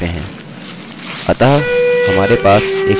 किन्तु इस प्रकार करने से काफी जल्दी कर सकते हैं